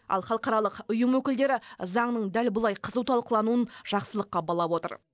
ал халықаралық ұйым өкілдері заңның дәл бұлай қызу талқылануын жақсылыққа балап отыр